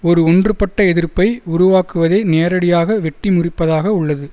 ஒரு ஒன்றுபட்ட எதிர்ப்பை உருவாக்குவதை நேரடியாக வெட்டி முறிப்பதாக உள்ளது